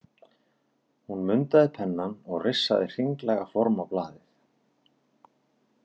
Hún mundaði pennann og rissaði hringlaga form á blaðið.